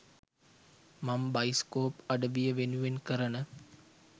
මං බයිස්කෝප් අඩවිය වෙනුවෙන් කරන